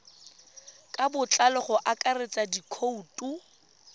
ka botlalo go akaretsa dikhoutu